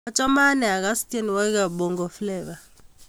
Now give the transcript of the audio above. Achame anee akase tyenwogiikab Bongo Flava.